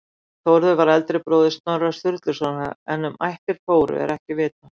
Þórður var eldri bróðir Snorra Sturlusonar en um ættir Þóru er ekkert vitað.